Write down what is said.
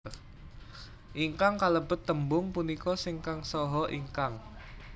Ingkang kalebet tembung punika sing kang saha ingkang